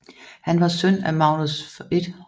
Han var søn af Magnus 1